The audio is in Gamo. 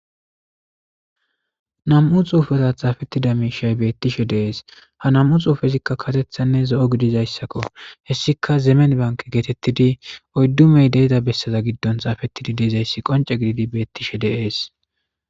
Nam'u xufera xafetida mishay betishe des ha nam'u xufezika karethanne zo'o gididaysakko hesika zemen banke getetidi oydu mey de'iza besaza gidon xafetidi de'izaysi qonc'e gididi betishe de'es.